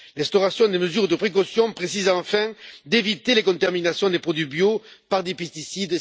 L'instauration des mesures de précaution précise enfin d'éviter les contaminations des produits bio par des pesticides.